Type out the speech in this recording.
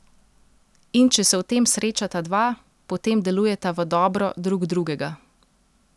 In če se v tem srečata dva, potem delujeta v dobro drug drugega.